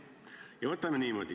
Mis asi on rong?